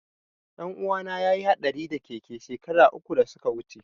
Ɗanuwana ya yi haɗari da keke shekara uku da suka wuce.